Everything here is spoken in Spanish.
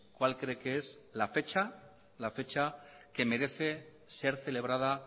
cuál cree que es la fecha que merece ser celebrada